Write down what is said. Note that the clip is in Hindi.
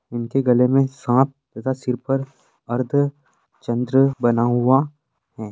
इनके गले में साँप तथा सिर पर अर्द्धचंद्र बना हुआ है।